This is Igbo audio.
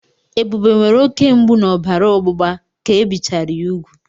Ebube nwere oke mgbu na ọbara ọgbụgba ka ebichara ya úgwù.